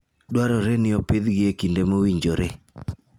Dwarore ni opidhgi e kinde mowinjore.